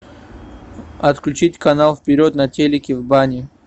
отключить канал вперед на телике в бане